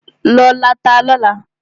Lọ lọ ata lọ́la!